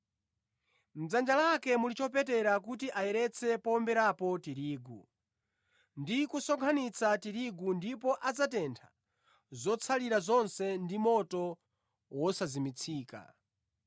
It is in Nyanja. Mʼdzanja lake muli chopetera kuti ayeretse powomberapo tirigu ndi kusonkhanitsa tirigu ndipo adzatentha zotsalira zonse ndi moto wosazimitsika.”